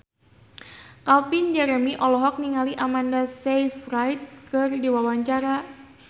Calvin Jeremy olohok ningali Amanda Sayfried keur diwawancara